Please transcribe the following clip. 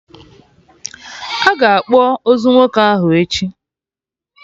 Aga akpọ ozu nwoke ahụ echi